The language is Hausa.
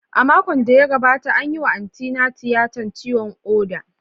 A makon da ya wuce, an yi wa Antina tiyatar ciwon koda.